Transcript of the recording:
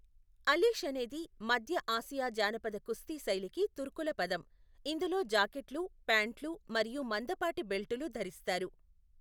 అలీష్ అనేది మధ్య ఆసియా జానపద కుస్తీ శైలికి తుర్కుల పదం, ఇందులో జాకెట్లు, ప్యాంట్లు మరియు మందపాటి బెల్టులు ధరిస్తారు.